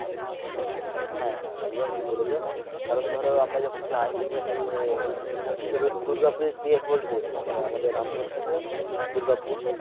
হ্যা হ্যা একদম ঠিক বলেছো কারন ধরো আমরা যখন যাই আহ এখান থেক দূর্গাপুরে গিয়ে hold করেছিলাম মানে আমাদের রামপুর হাট থেকে দূর্গাপুর।